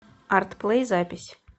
арт плэй запись